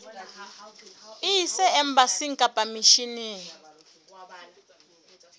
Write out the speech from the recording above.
e ise embasing kapa misheneng